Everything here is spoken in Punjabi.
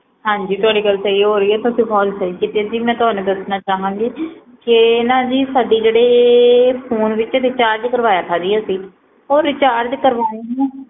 ਹਾਂਜੀ ਤੁਹਾਡੀ ਗਲ ਸਹੀ ਹੋ ਰਹੀ ਆ ਜੀ ਤੁਸੀ ਕਾਲ ਸਹੀ ਕੀਤੀ ਆ ਜੀ ਮੈ ਤੁਹਾਨੂੰ ਦੱਸਣਾ ਚਾਹਾਗੀ ਕੇ ਆ ਨਾ ਜੀ ਸਾਡੇ ਜਿਹੜੇ ਫੋਨ ਚ ਰਿਚਾਰਜ ਕਰਵਾ ਥਾ ਜੀ ਅਸੀਂ ਓ ਰਿਚਾਰਜ ਕਰਵਾਏ ਨੂੰ